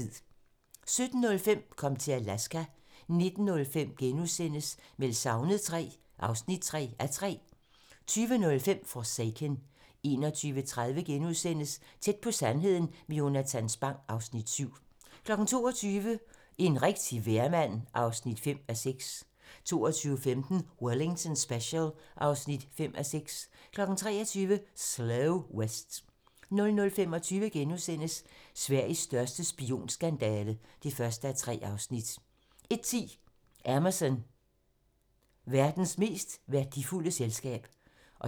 17:05: Kom til Alaska 19:05: Meldt savnet III (3:3)* 20:05: Forsaken 21:30: Tæt på sandheden med Jonatan Spang (Afs. 7)* 22:00: En rigtig vejrmand (5:6) 22:15: Wellington Special (5:6) 23:00: Slow West 00:25: Sveriges største spionskandale (1:3)* 01:10: Amazon - verdens mest værdifulde selskab